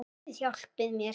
Guð hjálpi mér.